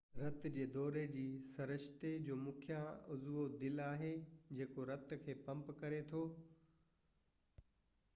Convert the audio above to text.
رت جي دوري جي سرشتي جو مکيہ عضوو دل آهي جيڪو رت کي پمپ ڪري ٿو